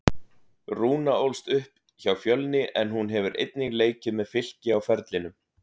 Rúna ólst upp hjá Fjölni en hún hefur einnig leikið með Fylki á ferlinum.